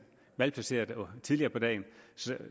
malplaceret tidligere på dagen